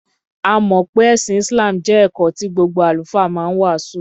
A mọ̀ pé ẹ̀sìn Islam jẹ́ ẹ̀kọ́ tí gbogbo Àlùfáà ma ń wàásù.